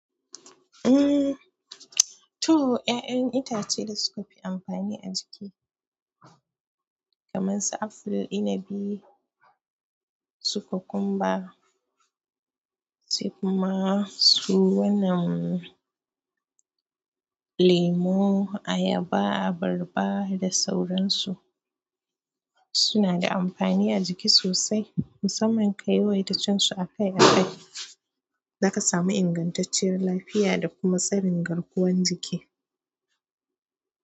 Umm, to, 'ya'yan itace da suka fi amfani a jiki kamar su aful, inabi, su kukumba, sai kuma su wannan lemo, ayaba, abarba da sauransu suna da amfani a jiki sosai. Musamman ka yawaita cin su a kai a kai, za ka samu ingantacciyar lafiya da kuma tsarin garkuwan jiki.